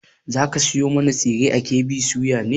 Za ka sayo mana tsire a KB soya ne?